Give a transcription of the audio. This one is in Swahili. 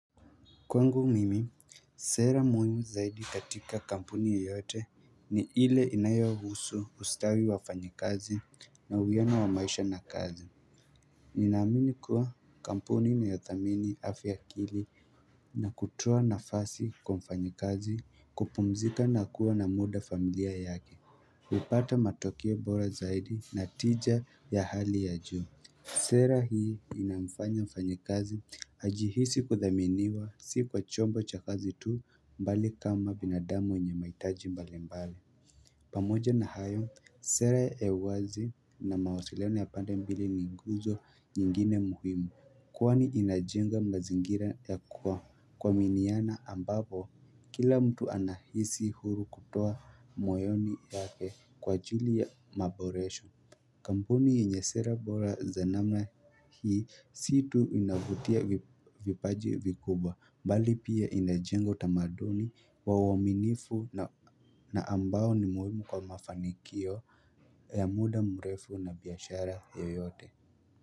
Kwangu mimi sera muhimu zaidi katika kampuni yoyote ni ile inayowa husu ustawi wa fanyikazi na uwiano wa maisha na kazi Ninaamini kuwa kampuni ni ya thamini afya akili na kutoa nafasi kwa mfanyikazi kupumzika na kuwa na muda familia yake hupata matokeo bora zaidi na tija ya hali ya juu Sera hii inamfanya mfanyikazi ajihisi kuthaminiwa si kwa chombo cha kazi tu mbali kama binadamu mwenye maitaji mbali mbali pamoja na hayo sera ya uwazi na mawasiliano ya pande mbili ni nguzo nyingine muhimu Kwani inajenga mazingira ya kuwa kuaminiana ambapo kila mtu anahisi huru kutoa moyoni yake kwa ajli ya maboresho Kampuni yenye sera bora za namna hii si tu inavutia vipaji vikubwa mbali pia inajenga utamaduni wa uwaminifu na ambao ni muhimu kwa mafanikio ya muda mrefu na biashara yoyote.